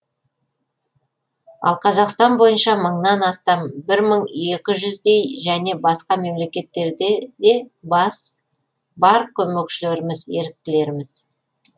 ал қазақстан бойынша мыңнан астам бір мың екі жүздей және басқа мемлекеттерде де бар көмекшілеріміз еріктілеріміз